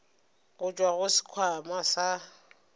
go tšwa go sekhwama sa